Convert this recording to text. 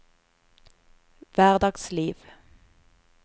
hverdagsliv